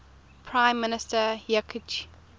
prime minister yitzhak